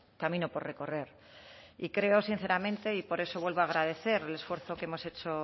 camino por recorrer y creo sinceramente y por eso vuelvo a agradecer el esfuerzo que hemos hecho